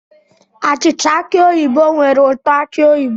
Achịcha aki oyibo nwere ụtọ aki oyibo